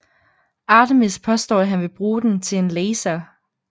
Artemis påstår at han vil bruge den til en laser